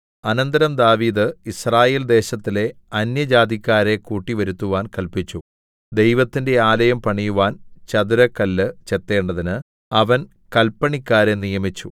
അനന്തരം ദാവീദ് യിസ്രായേൽദേശത്തിലെ അന്യജാതിക്കാരെ കൂട്ടിവരുത്തുവാൻ കല്പിച്ചു ദൈവത്തിന്റെ ആലയം പണിയുവാൻ ചതുരക്കല്ല് ചെത്തേണ്ടതിന് അവൻ കല്പണിക്കാരെ നിയമിച്ചു